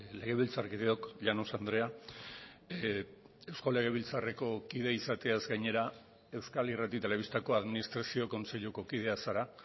legebiltzarkideok llanos andrea eusko legebiltzarreko kide izateaz gainera euskal irrati telebistako administrazio kontseiluko kidea zara